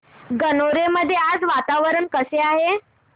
गणोरे मध्ये आज वातावरण कसे आहे